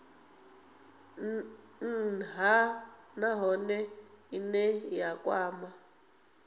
nha nahone ine ya kwama